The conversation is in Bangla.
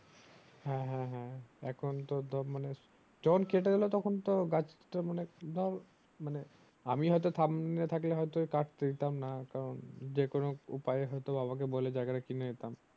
হ্যাঁ হ্যাঁ হ্যাঁ এখন তো ধর মানে ঝোকঁ কেটে দিলো তখন তো গাছ তা মানে ধর মানে আমি হয়তো সামনে থাকলে হয়তো কাটতে দিতাম না কারণ যে কোনো উপায় এ হয়তো বাবাকে বলে হয়তো জায়গাটা কিনে নিতাম